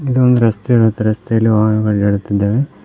ಇದು ಒಂದು ರಸ್ತೆ ರಸ್ತೆಯಲ್ಲಿ ವಾಹನಗಳು ಓಡಾಡುತ್ತಿದ್ದಾವೆ.